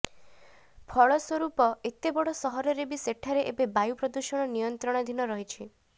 ଫଳସ୍ ରୂପ ଏତେ ବଡ଼ ସହରରେ ବି ସେଠାରେ ଏବେ ବାୟୁ ପ୍ରଦୂଷଣ ନିୟନ୍ତ୍ରଣାଧୀନ ରହିଛି